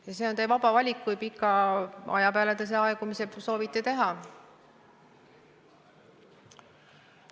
Ja see on teie vaba valik, kui pika aja peale te selle aegumise soovite teha.